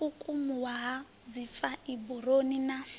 u kukumuwa ha dzifaiburoni na